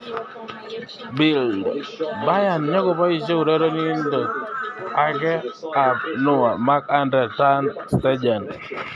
(Bild) Bayern nyokoboisie urerenindet ake ab Neuer, Marc-Andre ter Stegen.